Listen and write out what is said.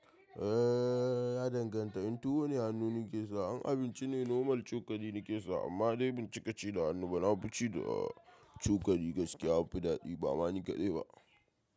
Eh ya danganta, in tuwo ne hannu nake sa, in abinci ne normal cokali nake sa amma dai ban cika ci da hannu ba, na fi ci da cokali gaskiya, ya fi daɗi ba ma ni kaɗai ba.